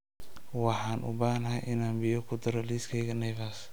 Waxaan u baahanahay inaan biyo ku daro liiskayga naivas